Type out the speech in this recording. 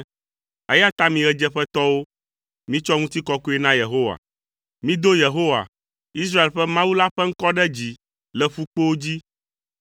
eya ta mi, ɣedzeƒetɔwo, mitsɔ ŋutikɔkɔe na Yehowa; mido Yehowa, Israel ƒe Mawu la ƒe ŋkɔ ɖe dzi le ƒukpowo dzi.